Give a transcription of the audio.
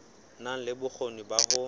na le bokgoni ba ho